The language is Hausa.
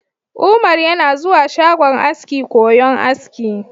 Umar yana zuwa shagon aski koyon aski.